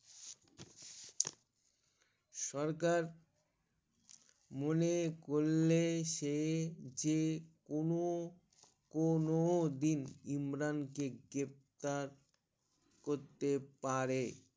সরকার মনে করলে সে যে কোনো কোনো দিন ইমরান কে গ্রেফতার করতে পারে